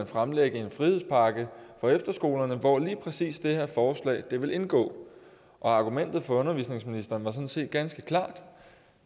fremlægge en frihedspakke for efterskolerne hvor lige præcis det her forslag ville indgå og argumentet fra undervisningsministeren var sådan set ganske klart